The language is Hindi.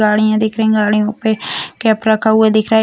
गाड़ियां दिख रही है गाड़ियों पे कैप रखा हुआ दिख रहा।